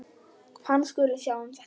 Hann skuli sjá um þetta.